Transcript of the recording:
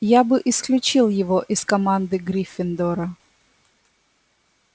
я бы исключил его из команды гриффиндора